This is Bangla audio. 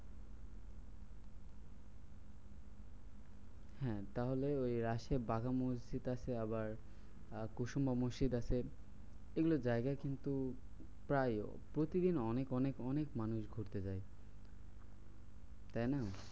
হ্যাঁ তাহলে ওই রাজেয়া বাঘা মসজিদ আছে আবার কুসুমা মসজিদ আছে এইগুলো জায়গা কিন্তু প্রায় প্রতিদিন অনেক অনেক অনেক মানুষ ঘুরতে যায়। তাইনা?